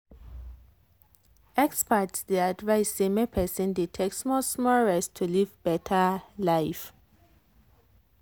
experts dey advise say make person dey take small-small rest to live better life.